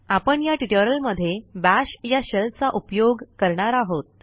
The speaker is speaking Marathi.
आपण या ट्युटोरियलमध्ये बाश या शेल चा उपयोग करणार आहोत